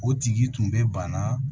O tigi tun bɛ banaa